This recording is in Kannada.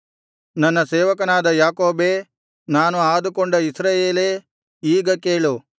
ನನ್ನ ಸೇವಕನಾದ ಯಾಕೋಬೇ ನಾನು ಆದುಕೊಂಡ ಇಸ್ರಾಯೇಲೇ ಈಗ ಕೇಳು